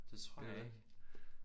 Det tror jeg ikke